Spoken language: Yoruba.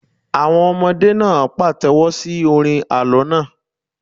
Àwọn ọmọdé náà pàtẹ́wọ́ sí orin àlọ́ náà.